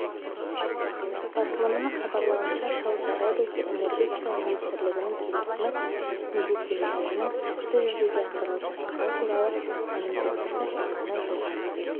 басылымының хабарлауынша сауд арабиясы энергетика министрлігінің келісімі міндеттемелерінің сәтті жүзеге асырылып жатқаны туралы мәлімдемесі бағаны жоғары